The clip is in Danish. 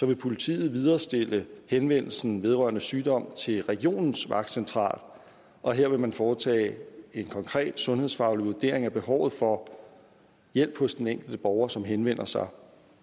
vil politiet viderestille henvendelsen vedrørende sygdom til regionens vagtcentral og her vil man foretage en konkret sundhedsfaglig vurdering af behovet for hjælp hos den enkelte borger som henvender sig